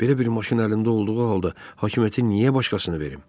Belə bir maşın əlində olduğu halda hakimiyyəti niyə başqasına verim?